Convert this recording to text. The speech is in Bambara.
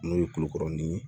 N'o ye kulokɔrɔni ye